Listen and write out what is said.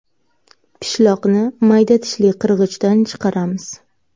Pishloqni mayda tishli qirg‘ichdan chiqaramiz.